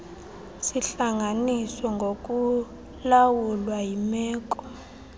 zihlanganiswe ngokulawulwa yimeko